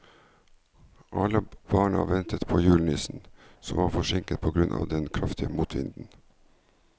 Alle barna ventet på julenissen, som var forsinket på grunn av den kraftige motvinden.